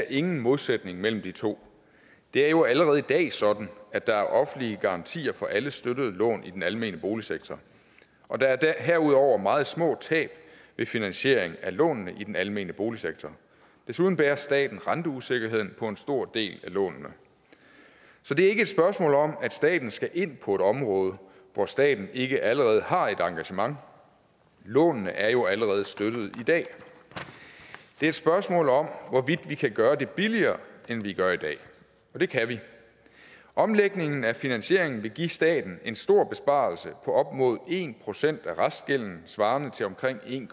ingen modsætning mellem de to det er jo allerede i dag sådan at der er offentlige garantier for alle støttede lån i den almene boligsektor og der er herudover meget små tab ved finansiering af lånene i den almene boligsektor desuden bærer staten renteusikkerheden på en stor del af lånene så det er ikke et spørgsmål om at staten skal ind på et område hvor staten ikke allerede har et engagement lånene er jo allerede støttede i dag det er et spørgsmål om hvorvidt vi kan gøre det billigere end vi gør i dag og det kan vi omlægningen af finansieringen vil give staten en stor besparelse på op mod en procent af restgælden svarende til omkring en